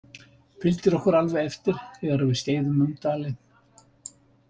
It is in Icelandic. Fylgir okkur alveg eftir þegar við skeiðum um dalinn.